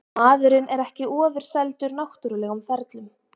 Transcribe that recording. Maðurinn er ekki ofurseldur náttúrlegum ferlum.